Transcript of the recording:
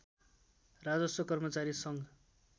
राजस्व कर्मचारी सङ्घ